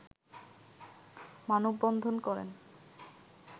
মানববন্ধন করেন